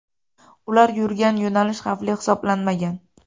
Ular yurgan yo‘nalish xavfli hisoblanmagan.